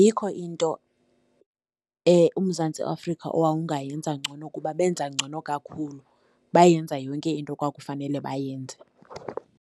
Ayikho into uMzantsi Afrika owawungayenza ngcono kuba benza ngcono kakhulu, bayenza yonke into ekwakufanele bayenze.